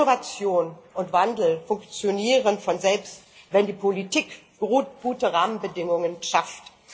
Innovation und Wandel funktionieren von selbst, wenn die Politik gute Rahmenbedingungen schafft.